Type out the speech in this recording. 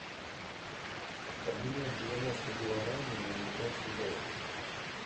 обменять девяносто гуарани на американские доллары